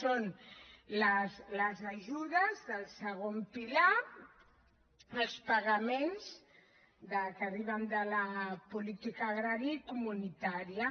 són les ajudes del segon pilar els pagaments que arriben de la política agrària i comunitària